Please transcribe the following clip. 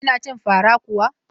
Kina cin fara kuwa?